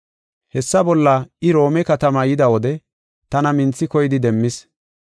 Hessa bolla I Roome katamaa yida wode tana minthi koyidi demmis.